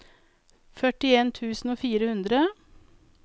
førtien tusen og fire hundre